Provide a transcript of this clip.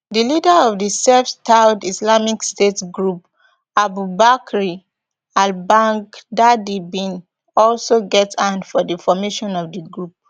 di leader of di self styled islamic state group abu bakr albaghdadi bin also get hand for di formation of di group